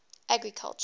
agriculture